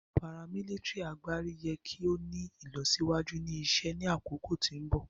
paramilitary agbari yẹ ki o ni ilọsiwaju ni isẹ ni akoko ti mbọ.